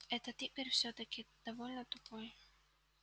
этот игорь всё-таки довольно тупой